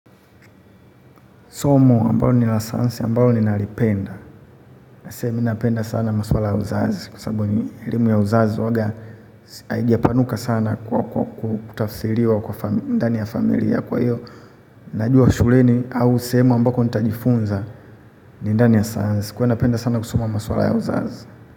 Somo ambalo ni la sayansi, ambalo ni naliipenda. Hasei minapenda sana maswala ya uzazi. Kwa sababu elimu ya uzazi uwaga haija panuka sana kutafsiriwa ndani ya familia kwa hiyo. Najua shuleni au sehemu ambako nitajifunza ni ndani ya sayansi. Kuwa napenda sana kusoma maswala ya uzazi.